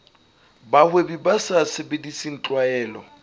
bahwebi ba sa sebedise tlwaelo